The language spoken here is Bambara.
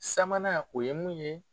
Sabanan o ye mun ye.